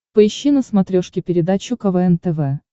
поищи на смотрешке передачу квн тв